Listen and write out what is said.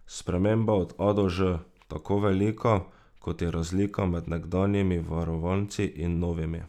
Sprememba od A do Ž, tako velika, kot je razlika med nekdanjimi varovanci in novimi.